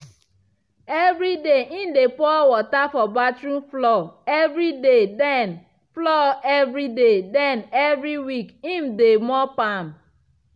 evri day im dey pour water for bathroom floor evriday den floor evriday den evri week im de mop am.